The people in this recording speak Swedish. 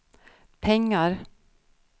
pengar